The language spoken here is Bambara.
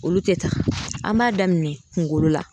Olu te taa an b'a daminɛ kungolo la